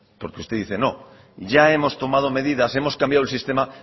porque usted dice no ya hemos tomado medidas hemos cambiado el sistema